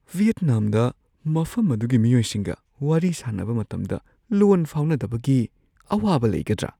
ꯚꯤꯌꯦꯠꯅꯥꯝꯗ ꯃꯐꯝ ꯑꯗꯨꯒꯤ ꯃꯤꯑꯣꯏꯁꯤꯡꯒ ꯋꯥꯔꯤ ꯁꯥꯅꯕ ꯃꯇꯝꯗ ꯂꯣꯟ ꯐꯥꯎꯅꯗꯕꯒꯤ ꯑꯋꯥꯕ ꯂꯩꯒꯗ꯭ꯔꯥ?